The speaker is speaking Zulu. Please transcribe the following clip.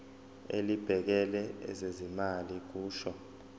elibhekele ezezimali kusho